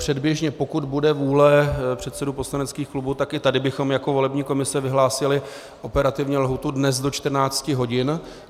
Předběžně, pokud bude vůle předsedů poslaneckých klubů, tak i tady bychom jako volební komise vyhlásili operativně lhůtu dnes do 14 hodin.